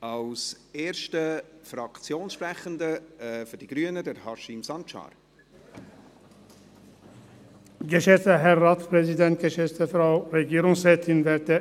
Als erster Fraktionssprecher hat Haşim Sancar für die Grünen das Wort.